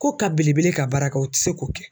K'o ka belebele ka baara kɛ o tɛ se k'o kɛ.